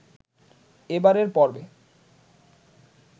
এবারের পর্বে